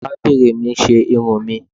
arabinrín mi ṣe irún mi